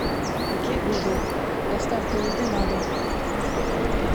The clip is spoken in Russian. окей гугл доставка еды на дом